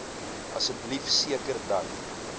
asseblief seker dat